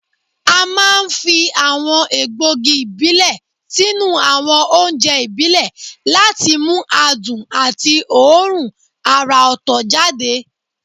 A máa ń fi àwọn egbògi ìbílẹ̀ sínú àwọn oúnjẹ ìbílẹ̀ láti mú adùn àti òórùn àrà ọ̀tọ̀ jáde